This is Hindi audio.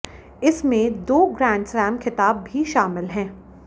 इसमें दो ग्रैंड स्लैम खिताब भी शामिल हैं